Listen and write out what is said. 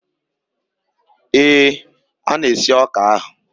Ee, a na-esi ọka ahụ.